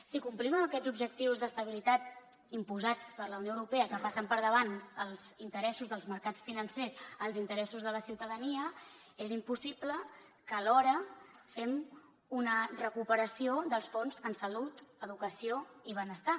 si complim amb aquests objectius d’estabilitat imposats per la unió europea que passen per davant els interessos dels mercats financers als interessos de la ciutadania és impossible que alhora fem una recuperació dels fons en salut educació i benestar